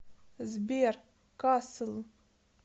сбер касл